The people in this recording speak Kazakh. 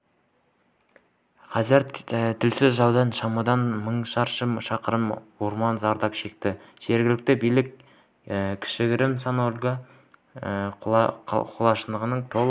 қазір тілсіз жаудан шамамен мың шаршы шақырым орман зардап шекті жергілікті билік кішігірім санта-ольга қалашығының толық